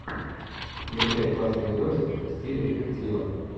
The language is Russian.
включай классный видосик в стиле детектива